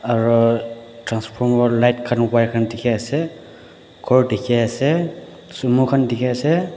aru transfor or light khan wire khan dekhi ase gour dekhi ase sumo dekhi ase.